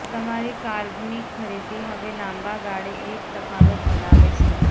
તમારી કાર્બનિક ખરીદી હવે લાંબા ગાળે એક તફાવત બનાવે છે